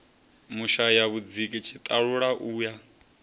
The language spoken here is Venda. vhushaya vhudziki tshiṱalula u ya